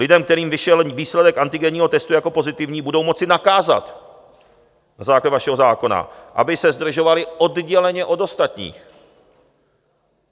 Lidem, kterým vyšel výsledek antigenního testu jako pozitivní, budou moci nakázat na základě vašeho zákona, aby se zdržovali odděleně od ostatních.